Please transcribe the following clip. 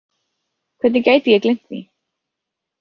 Hvernig gæti ég gleymt því?